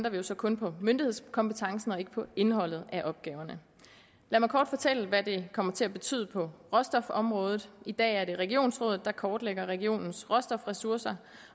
altså kun på myndighedskompetencen og ikke på indholdet af opgaverne lad mig kort fortælle hvad det kommer til at betyde på råstofområdet i dag er det regionsrådet der kortlægger regionens råstofressourcer